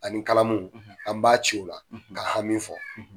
Ani kalamu an b'a cɛw o la ka an hami fɔ.